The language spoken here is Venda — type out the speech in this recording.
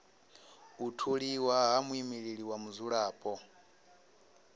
u tholiwa ha muimeleli wa vhadzulapo